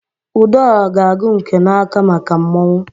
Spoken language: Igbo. Udora g'agu nke na-aka maka mmọnwụ.